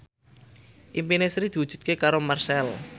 impine Sri diwujudke karo Marchell